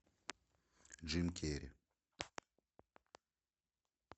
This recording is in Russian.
джим керри